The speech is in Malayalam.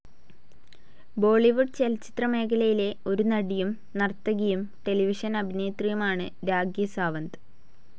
ബോളിവുഡ് ചലച്ചിത്ര മേഖലയിലെ ഒരു നടിയും, നർത്തകിയും, ടെലിവിഷൻ അഭിനേത്രിയുമാണ് രാഖി സാവന്ത്.